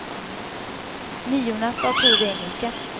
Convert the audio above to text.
Niorna skall ha prov i engelska.